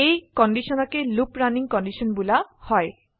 এই কন্ডিশনকে looping running condition বোলা হয়